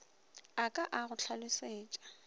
a ka a go hlalosetša